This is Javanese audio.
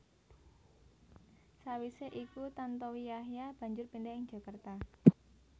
Sawisé iku Tantowi Yahya banjur pindah ing Jakarta